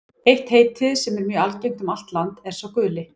Eitt heitið, sem er mjög algengt um allt land, er sá guli.